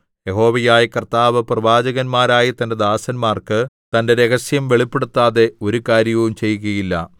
യഹോവയായ കർത്താവ് പ്രവാചകന്മാരായ തന്റെ ദാസന്മാർക്ക് തന്റെ രഹസ്യം വെളിപ്പെടുത്താതെ ഒരു കാര്യവും ചെയ്യുകയില്ല